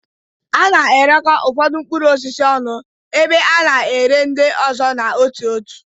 A na-erekọ ụfọdụ mkpụrụ osisi ọnụ, ebe a na-ere ndị ọzọ n'otu n'otu.